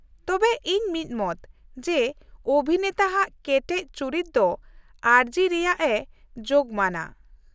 ᱛᱚᱵᱮ ᱤᱧ ᱢᱤᱫᱢᱚᱛ ᱡᱮ ᱚᱵᱷᱤᱱᱮᱛᱟ ᱟᱜ ᱠᱮᱴᱮᱡ ᱪᱩᱨᱤᱛ ᱫᱚ ᱟᱹᱨᱡᱤ ᱨᱮᱭᱟᱜ ᱮ ᱡᱳᱜᱢᱟᱱᱟ ᱾